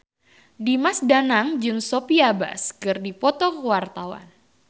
Dimas Danang jeung Sophia Bush keur dipoto ku wartawan